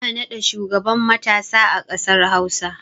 Ana naɗa shugaban matasa a ƙasar hausa